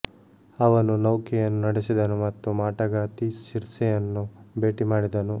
ಅವನು ನೌಕೆಯನ್ನು ನಡೆಸಿದನು ಮತ್ತು ಮಾಟಗಾತಿ ಸಿರ್ಸೆಯನ್ನು ಭೇಟಿ ಮಾಡಿದನು